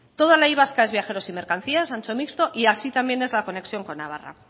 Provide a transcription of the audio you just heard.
toda la y vasca es viajeros y mercancías ancho mixto y así también es la conexión con navarra